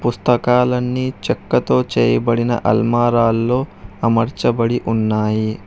పుస్తకాలన్నీ చెక్కతో చేయబడిన అల్మారాల్లో అమర్చబడి ఉన్నాయి.